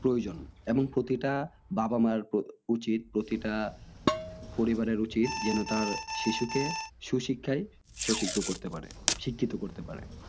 প্রয়োজন এবং প্রতিটা বাবা মার উচিত প্রতিটা পরিবারের উচিত যেন তার শিশুকে সুশিক্ষায় স্বশিক্ষ করতে পারে। শিক্ষিত করতে পারে